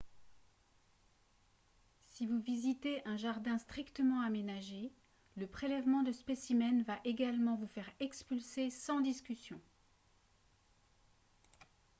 si vous visitez un jardin strictement aménagé le prélèvement de « spécimens » va également vous faire expulser sans discussion